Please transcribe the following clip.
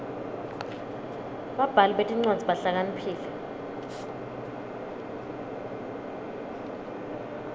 babhali betincwadzi bahlakaniphile